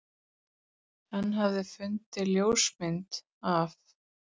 Hann hafði fundið ljósmyndina af